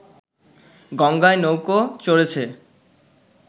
গঙ্গায় নৌকো চড়েছে